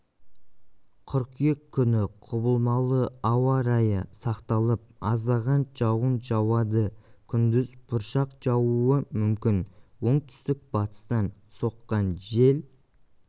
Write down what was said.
қыркүйек күні құбылмалы ауа райы сақталып аздаған жауын жауады күндіз бұршақ жаууы мүмкін оңтүстік-батыстан соққан жел